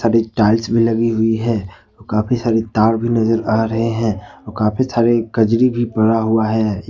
Tiles भी लगी हुई है और काफी सारे भी नजर आ रहे है और काफी सारे कजरी भी पड़ा हुआ है।